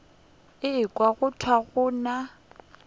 ekwa go thwe go na